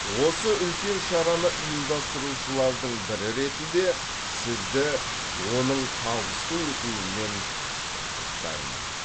осы үлкен шараны ұйымдастырушылардың бірі ретінде сізді оның табысты өтуімен құттықтаймын